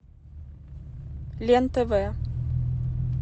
лен тв